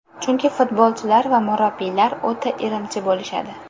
Chunki futbolchilar va murabbiylar o‘ta irimchi bo‘lishadi.